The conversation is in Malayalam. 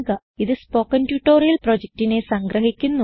ഇതു സ്പോകെൻ ട്യൂട്ടോറിയൽ പ്രൊജക്റ്റിനെ സംഗ്രഹിക്കുന്നു